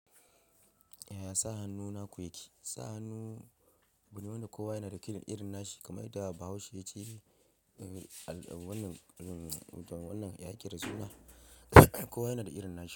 Yaya sa hannu na ku yake? Sa hannu buɗe wanda kowa yana da irin nashi kamar yadda. Bahaushe yace. Wannan ya yaƙe da suna kowa yana da irin nashi.